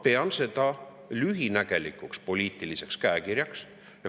Ma pean seda lühinägelikuks poliitiliseks käekirjaks.